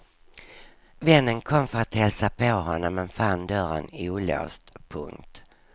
Vännen kom för att hälsa på honom men fann dörren olåst. punkt